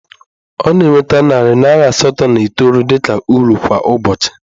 Ọ na-enweta narị naịra asatọ na itoolu dị ka uru kwa ụbọchị